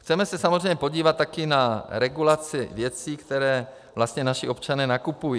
Chceme se samozřejmě podívat také na regulaci věcí, které vlastně naši občané nakupují.